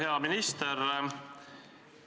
Hea minister!